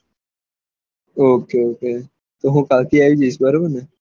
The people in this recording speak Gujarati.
ઓકે ઓકે તો હું કાલ થી આયીસ જાયીસ